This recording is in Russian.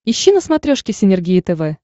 ищи на смотрешке синергия тв